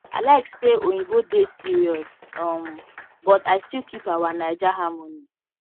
i like say oyinbo dey serious um but i still keep our naija harmony